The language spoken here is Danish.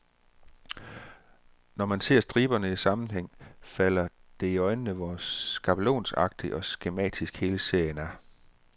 Når man ser striberne i sammenhæng, falder det i øjnene, hvor skabelonagtig og skematisk hele serien er.